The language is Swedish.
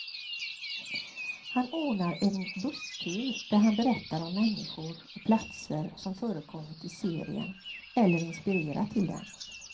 Han ordnar en busstur där han berättar om människor och platser som förekommit i serien, eller inspirerat till den.